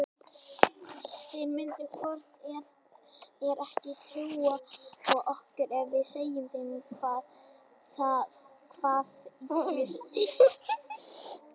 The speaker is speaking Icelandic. Þeir myndu hvort eð er ekki trúa okkur ef við segðum þeim hvað ylli stíflunum.